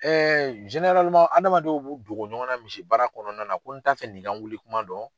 adamadenw b'u dogo ɲɔgɔn na misi baara kɔnɔna na ko n t'a fɛ nin ka n wuli kuma dɔn.